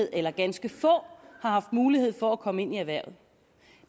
eller ganske få har haft mulig for at komme ind i erhvervet